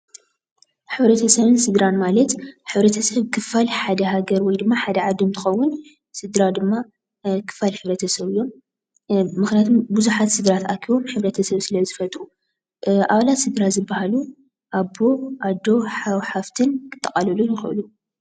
ሕብረተሰብን ስድራን ማለት ሕብረተሰብ ክፋል ሓደ ሃገር ወይ ድማ ሓደ ዓዲ እንትከውን ስድራ ድማ ናይ ክፋል ሕብረተሰብ እዮም። ምክንያቱ ብዙሓት ስድራ ተኣኪቦም ሕብረተሰብ ስለዝፈጥሩ። ኣባላት ስድራ ዝበሃሉ ኣቦ ፣ኣዶ፣ ሓው ፣ሓፍቲን ከጠቃልሉ ይኽእሉ።